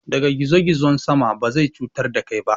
Ɗaga gizo-gizon sama, ba zai cutar da kai ba.